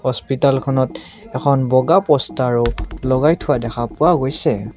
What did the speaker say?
হস্পিতালখন এখন বগা পষ্টাৰো লগাই থোৱা দেখা পোৱা গৈছে।